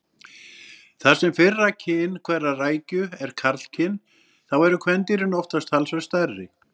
Þar sem fyrra kyn hverrar rækju er karlkyn þá eru kvendýrin oftast talsvert stærri.